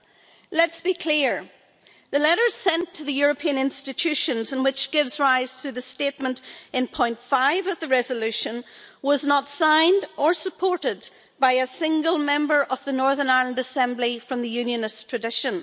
Let's be clear, the letter sent to the European Institutions and which gives rise to the statement in paragraph 5 of the resolution was not signed or supported by a single member of the Northern Ireland Assembly from the Unionist tradition.